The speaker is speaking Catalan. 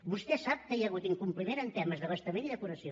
vostè sap que hi ha hagut incompliment en temes d’abastament i depuració